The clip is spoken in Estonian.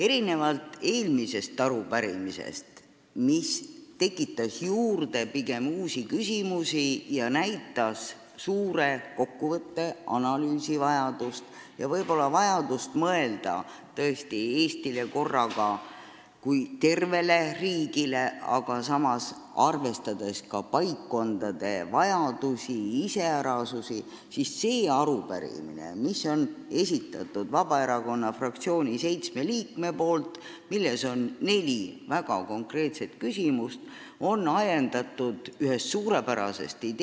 Erinevalt eelmisest arupärimisest, mis tekitas pigem uusi küsimusi juurde ja näitas vajadust suure kokkuvõtte, analüüsi järele, sh võib-olla vajadust mõelda Eestile kui tervele riigile, arvestades ka paikkondade iseärasusi, on see arupärimine, mille on esitanud Vabaerakonna fraktsiooni seitse liiget ja milles on neli väga konkreetset küsimust, ajendatud ühest suurepärasest ideest.